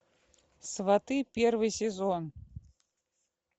сваты первый сезон